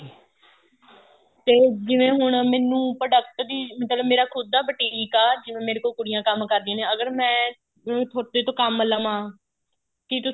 ਤੇ ਜਿਵੇਂ ਹੁਣ ਮੈਨੂੰ product ਦੀ ਮਤਲਬ ਮੇਰਾ ਖੁੱਦ ਦਾ boutique ਆ ਜਿਵੇਂ ਮੇਰੇ ਕੋਲ ਕੁੜੀਆਂ ਕੰਮ ਕਰਦੀਆਂ ਨੇ ਅਗਰ ਮੈਂ ਹੁਣ ਤੁਹਾਡੇ ਤੋਂ ਕੰਮ ਲਵਾ ਕੀ ਤੁਸੀਂ